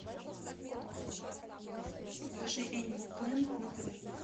покажи энимал плэнет на тв